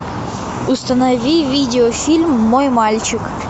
установи видеофильм мой мальчик